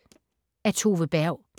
Af Tove Berg